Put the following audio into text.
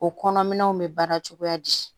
O kɔnɔminɛnw bɛ baara cogoya di